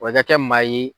Wa i ka kɛ maa ye